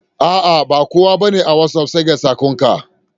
Bakowa bane a watsapp sega sakon ka.